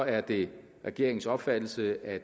er det regeringens opfattelse at